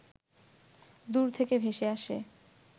দূর থেকে ভেসে আসে